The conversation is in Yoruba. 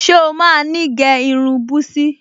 Ṣé o máa ní gẹ́ irun búsí?